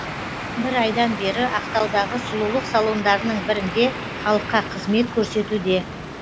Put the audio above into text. бір айдан бері ақтаудағы сұлулық салондарының бірінде халыққа қызмет көрсетуде